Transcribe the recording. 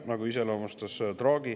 Nii iseloomustas seda Draghi.